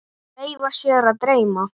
Leyfa sér að dreyma.